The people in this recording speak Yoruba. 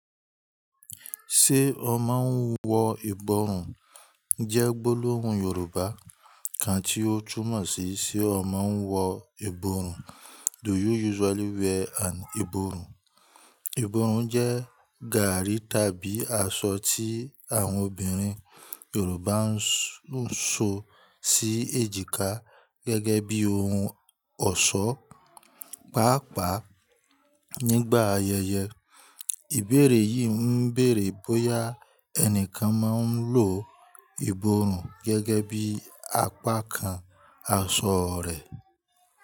Ṣé o máa ń wọ ìborùn? Jẹ́ gbólóhùn Yorùbá kan tí ó túmọ̀ sí, "Ṣé o máa ń wọ ìborùn?" Do you use verywell and iborun? Iborun jẹ garri tabi aso ti awọn obinrin yoruba n so si ejika gege bi oun ọṣọ. Páápàá, nígbà ayẹyẹ, ìbéèrè yìí ń béèrè bóyá ẹnìkan máa ń lo ìborùn gẹ́gẹ́ bí apá kan aṣọ rẹ̀.